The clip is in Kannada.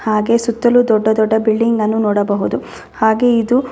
ಹಾಗೆ ಸುತ್ತಲು ದೊಡ್ಡ ದೊಡ್ಡ ಬಿಲ್ಡಿಂಗ್ಗನ್ನು ನೋಡಬಹುದು ಹಾಗೆ ಇದು--